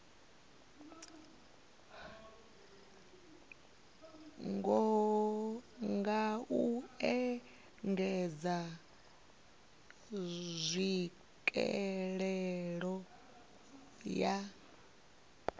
nga u engedza tswikelelo ya